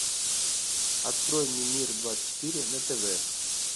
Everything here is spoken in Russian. открой мне мир двадцать четыре на тв